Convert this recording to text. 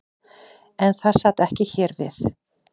En það sat ekki hér við.